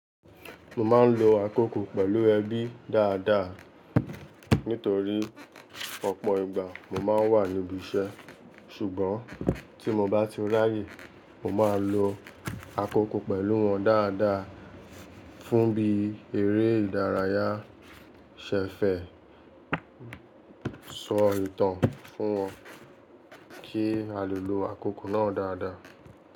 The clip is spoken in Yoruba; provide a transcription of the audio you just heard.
Mo máa ń lo àkókò pẹ̀lú ẹbí dáadáa nítorí ọ̀pọ̀ ìgbà mo máa ń wà níbi iṣẹ́. Ṣùgbọ́n tí mo bá ti ráyè, mo máa lo àkókò pẹ̀lú wọn dáadáa fún bí eré ìdárayá, ṣẹ̀fẹ̀, sọ ìtàn fún wọn kí a lè lo àkókò náà dáadáa.